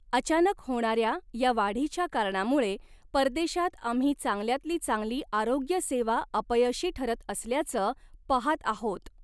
अचानक होणाऱ्या या वाढीच्या कारणामुळे परदेशात आम्ही चांगल्यातली चांगली आरोग्य सेवा अपयशी ठरत असल्याचं पहात आहोत.